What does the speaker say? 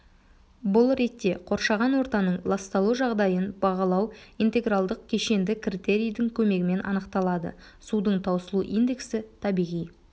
бұл ретте қоршаған ортаның ласталу жағдайын бағалау интегралдық кешенді критерийдің көмегімен анықталады судың таусылу индексі табиғи